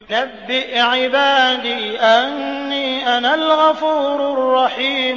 ۞ نَبِّئْ عِبَادِي أَنِّي أَنَا الْغَفُورُ الرَّحِيمُ